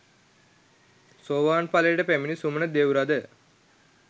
සෝවාන් ඵලයට පැමිණි සුමන දෙව්රද